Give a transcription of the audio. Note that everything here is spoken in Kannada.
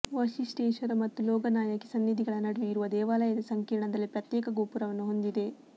ವಶಿಷ್ಠೇಶ್ವರ ಮತ್ತು ಲೋಗನಾಯಕಿ ಸನ್ನಿಧಿಗಳ ನಡುವೆ ಇರುವ ದೇವಾಲಯದ ಸಂಕೀರ್ಣದಲ್ಲಿ ಪ್ರತ್ಯೇಕ ಗೋಪುರವನ್ನು ಹೊಂದಿದೆ